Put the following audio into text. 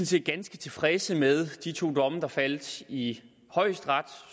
set ganske tilfredse med de to domme der faldt i højesteret